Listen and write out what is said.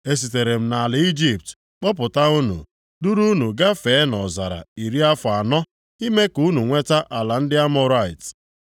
Esitere m nʼala Ijipt kpọpụta unu, duru unu gafee nʼọzara iri afọ anọ, ime ka unu nweta ala ndị Amọrait.